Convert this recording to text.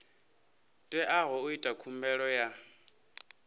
teaho u ita khumbelo ya